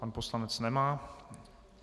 Pan poslanec nemá.